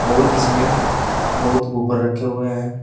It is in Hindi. और इसमें बहुत बुफर रखे हुए हैं।